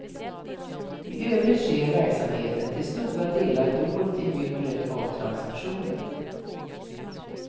I övrigt sker verksamheten till stora delar dolt i myllret av transaktioner.